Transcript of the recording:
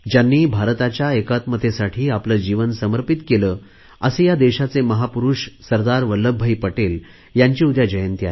ज्यांनी भारताच्या एकात्मतेसाठी आपले जीवन समर्पित केले असे या देशाचे महापुरुष सरदार वल्लभभाई पटेल यांची उद्या जयंती आहे